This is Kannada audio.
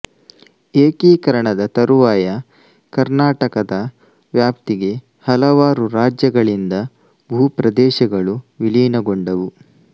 ಏಕೀಕರಣದ ತರುವಾಯ ಕರ್ನಾಟಕದ ವ್ಯಾಪ್ತಿಗೆ ಹಲವಾರು ರಾಜ್ಯಗಳಿಂದ ಭೂ ಪ್ರದೇಶಗಳು ವಿಲೀನಗೊಂಡವು